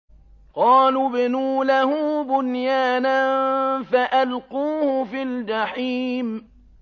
قَالُوا ابْنُوا لَهُ بُنْيَانًا فَأَلْقُوهُ فِي الْجَحِيمِ